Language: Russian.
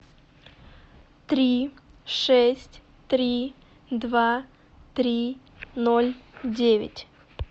три шесть три два три ноль девять